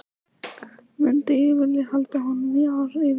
Myndi ég vilja halda honum í ár í viðbót?